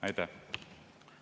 Aitäh!